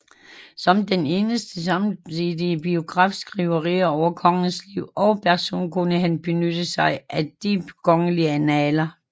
Som den eneste samtidige biografiskriver over kongens liv og person kunne han benytte sig af de kongelige annaler